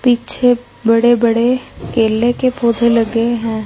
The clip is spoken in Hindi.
पीछे बड़े बड़े केले के पौधे लगे हैं।